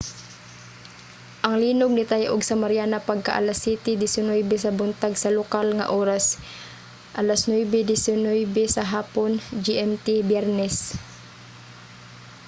ang linog nitay-og sa mariana pagka-alas 07:19 sa buntag sa lokal nga oras 09:19 sa hapon gmt biyernes